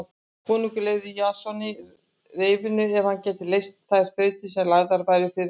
Konungur lofaði Jasoni reyfinu ef hann gæti leyst þær þrautir sem lagðar yrðu fyrir hann.